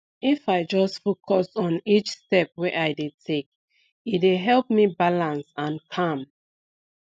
if i just focus on each step wey i dey take e dey help me balance and calm